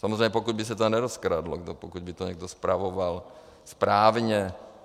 Samozřejmě pokud by se to nerozkradlo, pokud by to někdo spravoval správně.